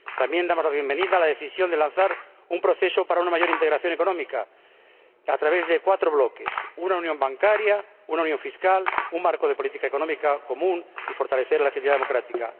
También damos la bienvenida a la decisión de lanzar un proceso para una mayor integración económica, a través de cuatro bloques una unión bancaria, una unión fiscal, un marco de política económica común y un fortalecimiento de la legitimidad democrática.